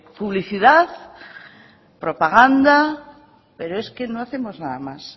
publicidad propaganda pero es que no hacemos nada más